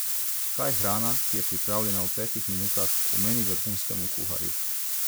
Kaj hrana, ki je pripravljena v petih minutah, pomeni vrhunskemu kuharju?